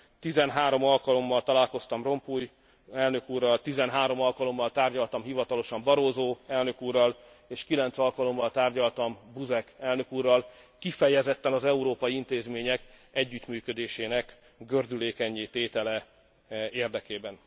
13 alkalommal találkoztam Rompuy elnök úrral, 13 alkalommal tárgyaltam hivatalosan Barroso elnök úrral és 9 alkalommal tárgyaltam Buzek elnök úrral kifejezetten az európai intézmények együttműködésének gördülékennyé tétele érdekében.